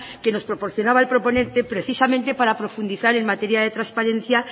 que nos proporcionaba el proponente precisamente para profundizar en materia de transparencia